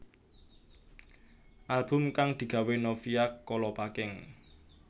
Album kang digawé Novia Kolopaking